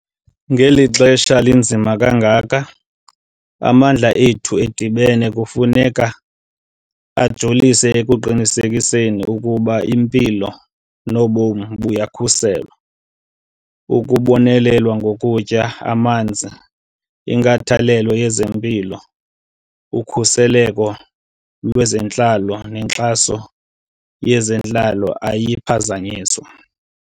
Ngeli xesha linzima kangaka, amandla ethu edibene kufuneka ajolise ekuqinisekiseni ukuba impilo nobomi buyakhuselwa, ukubonelelwa ngokutya, amanzi, inkathalelo yezempilo, ukhuseleko lwezentlalo nenkxaso yezentlalo ayiphazanyiswa.